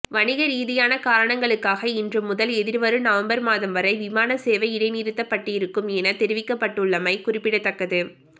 வணிக ரீதியான காரணங்களுக்காக இன்று முதல் எதிர்வரும் நவம்பர் மாதம்வரை விமான சேவை இடைநிறுத்தப்பட்டிருக்கும் என தெரிவிக்கப்பட்டுள்ளமை குறிப்பிடத்தக்கது